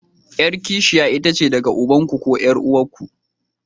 Yar kishiya itace daga ubanku ko 'yar'uwarku.